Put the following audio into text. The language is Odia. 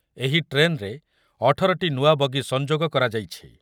ଏହି ଟ୍ରେନ୍‌ରେ ଅଠର ଟି ନୂଆ ବଗି ସଂଯୋଗ କରାଯାଇଛି ।